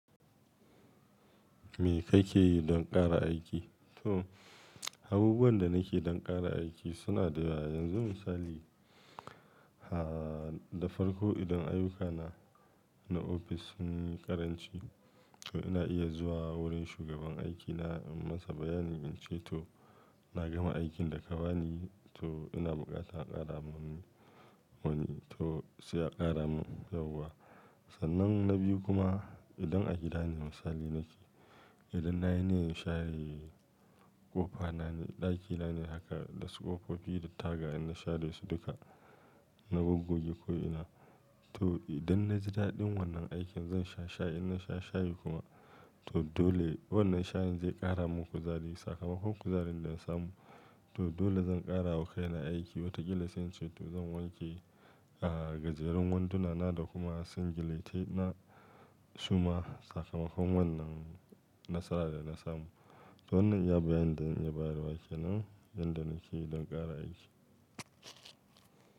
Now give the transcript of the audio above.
Me kake yi don ƙara aiki? To, abubuwan da nake don ƙara aiki suna da yawa. Yanzu misali, ha da farko idan ayyukana na ofis sun yi ƙaranci, to ina iya zuwa wurin shugaban aikina, yi masa bayani in ce to na gama aikin da ka bani, to ina buƙatan ƙara mun wani to sai a ƙara mun sauka. Sannan na biyu kuma, idan a gida ne misali nake, idan nayi ne in share ƙofana ne, ɗakina ne haka, dasu ƙofofi da taga in share su duka, na gogoge ko ina. To idan naji daɗin wannan aikin zan sha shayi. In na sha shayi kuma, to dole wannan shayin zai ƙara mun kuzari. Sakamakon kuzarin da na samu, to dole zan ƙara wakaila aiki. Wataƙila sai in ce to zan wanke, ah, gajerun wandunana da kuma singiletai na. Su ma sakamakon wannan nasara da na samu. To wannan iya bayanin da in iya bayarwa kenan, inda nake don ƙara aiki.